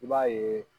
I b'a yeee